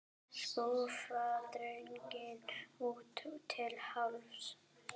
Skúffa dregin út til hálfs.